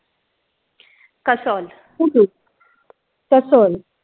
kasol kasol